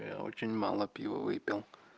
очень мало пива выпил